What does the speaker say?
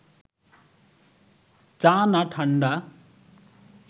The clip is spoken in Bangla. চা না ঠাণ্ডা